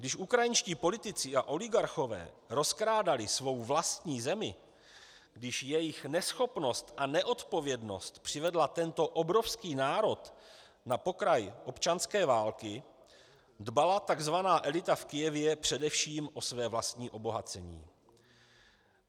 Když ukrajinští politici a oligarchové rozkrádali svou vlastní zemi, když jejich neschopnost a neodpovědnost přivedly tento obrovský národ na pokraj občanské války, dbala tzv. elita v Kyjevě především o své vlastní obohacení.